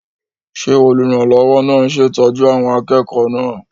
Ṣé olùrànlọ́wọ́ náà ń ṣètọ́jú àwọn akẹ́kọ̀ọ́ náà?